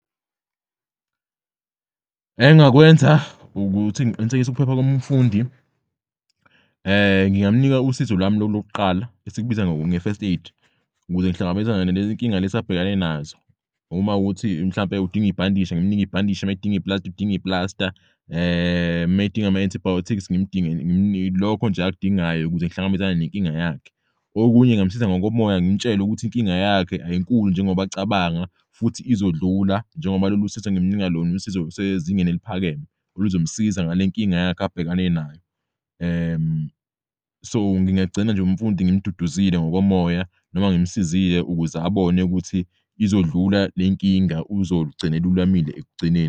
Engakwenza ukuthi ngiqinisekise ukuphepha komfundi ngingamnika usizo lwami lokuqala esikubiza nge-first aid ukuze ngihlangabezane nalezinkinga lezi abhekane nazo. Uma kuwukuthi mhlawumpe udinga ibhandishi ngimunike ibhandishi mayedinga i-plasta, udinga i-plasta, mayedinga ama-antibiotics lokho nje akudingayo ukuze ngihlangabezane nenkinga yakhe. Okunye ngingamusiza ngokomoya ngimtshele ukuthi inkinga yakhe ayinkulu njengoba acabanga futhi izodlula njengoba lolu sizo engimnika lona usizo olusezingeni eliphakeme oluzomsiza ngale nkinga yakhe abhekane nayo. So ngingagcina nje umfundi ngimduduzile ngokomoya noma ngimsizile ukuze abone ukuthi izodlula lenkinga uzogcin'lulamile ekugcineni.